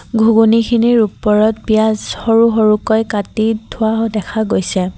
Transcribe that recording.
ঘুগুনীখিনিৰ ওপৰত পিয়াজ সৰু সৰুকৈ কাটি থোৱাও দেখা পোৱা গৈছে।